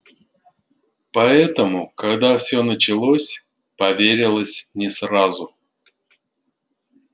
поэтому когда все началось поверилось не сразу